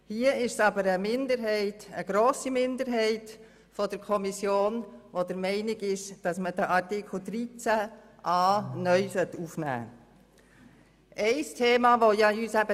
Hier ist aber eine grosse Minderheit der Kommission der Meinung, dass man Artikel 13a(neu) ins Gesetz aufnehmen sollte.